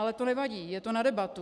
Ale to nevadí, je to na debatu.